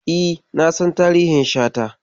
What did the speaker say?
E, na san tarihin Shata.